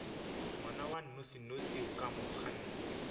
ngwana a nnošinoši wa komangkanna